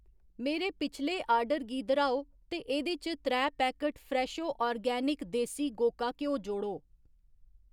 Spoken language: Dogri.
मेरे पिछले आर्डर गी दर्‌हाओ ते एह्‌दे च त्रै पैकट फ्रेशो आर्गेनिक देसी गोका घ्यो जोड़ो